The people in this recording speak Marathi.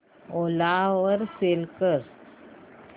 ओला वर सेल कर